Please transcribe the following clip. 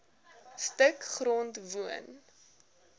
stuk grond woon